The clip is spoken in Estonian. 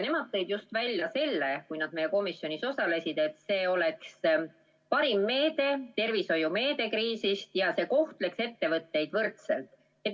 Nemad tõid siis, kui nad meie komisjoni istungil osalesid, välja, et see oleks kriisiajal parim tervishoiumeede, ja see kohtleks ettevõtteid võrdselt.